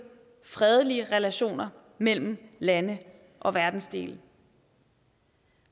fredelige relationer mellem lande og verdensdele